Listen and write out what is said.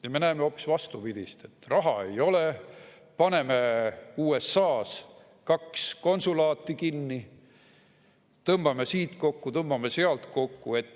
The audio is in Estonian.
Ja me näeme hoopis vastupidist: raha ei ole, paneme USA-s kaks konsulaati kinni, tõmbame siit kokku, tõmbame sealt kokku.